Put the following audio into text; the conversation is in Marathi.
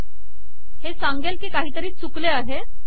हे सांगेल की काहीतरी चुकले आहे